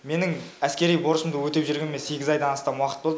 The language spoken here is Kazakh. менің әскери борышымды өтеп жүргеніме айдан астам уақыт болды